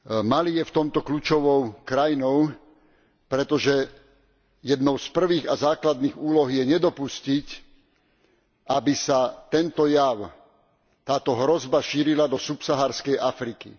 Mali je v tomto kľúčovou krajinou, pretože jednou z prvých a základných úloh je nedopustiť, aby sa tento jav, táto hrozba šírila do subsaharskej Afriky.